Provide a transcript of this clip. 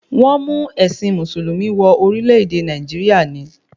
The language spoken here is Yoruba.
Wọ́n mú ẹ̀sìn mùsùlùmí wọ orílẹ̀-èdè Nàìjíríà ni